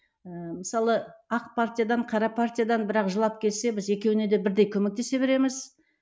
ііі мысалы ақ партиядан қара партиядан бірақ жылап келсе біз екеуіне де бірдей көмектесе береміз